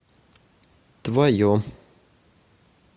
твое